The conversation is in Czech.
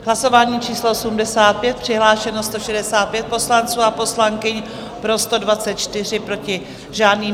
Hlasování číslo 85, přihlášeno 165 poslanců a poslankyň, pro 124, proti žádný.